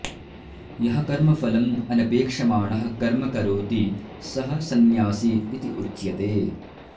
यः कर्मफलम् अनपेक्षमाणः कर्म करोति सः सन्न्यासी इति उच्यते